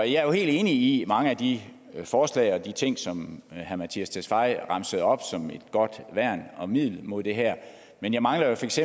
jeg er jo helt enig i mange af de forslag og de ting som herre mattias tesfaye remsede op som et godt værn og middel mod det her men jeg mangler feks